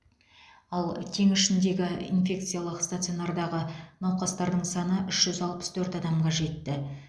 ал теңізшіндегі инфекциялық стационардағы науқастардың саны үш жүз алпыс төрт адамға жетті